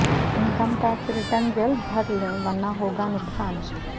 income tax return جلد بھر لیں ورنہ ہوگا نقصان